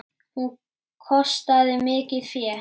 Hún kostaði mikið fé.